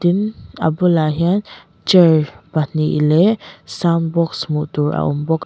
im a bulah hian chair pahnih leh sound box hmuh tur a awm bawk--